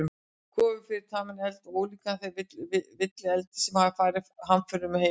Kofi fyrir taminn eld, ólíkan þeim villieldi sem hafði farið hamförum um heimilið.